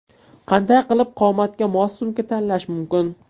Qanday qilib qomatga mos sumka tanlash mumkin?.